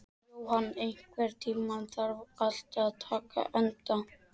Johan, einhvern tímann þarf allt að taka enda.